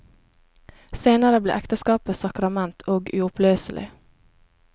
Senere ble ekteskapet sakrament, og uoppløselig.